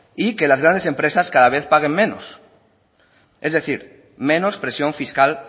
y que las grandes empresas cada vez paguen menos es decir menos presión fiscal